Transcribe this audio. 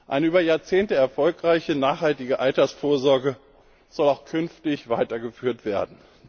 Eine über Jahrzehnte erfolgreiche nachhaltige Altersvorsorge soll auch künftig weitergeführt werden.